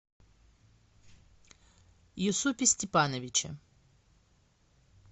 юсупе степановиче